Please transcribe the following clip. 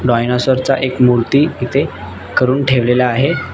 Dinosaur चा एक मुर्ती इथे करुन ठेवलेला आहे.